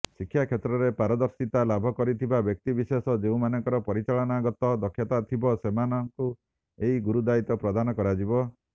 ଶିକ୍ଷାକ୍ଷେତ୍ରରେ ପାରଦର୍ଶିତା ଲାଭ କରିଥିବା ବ୍ୟକ୍ତିବିଶେଷ ଯେଉଁମାନଙ୍କର ପରିଚାଳନାଗତ ଦକ୍ଷତା ଥିବ ସେମାନଙ୍କୁ ଏହି ଗୁରୁଦାୟୀତ୍ୱ ପ୍ରଦାନ କରାଯିବ